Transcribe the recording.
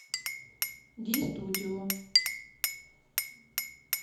ди студио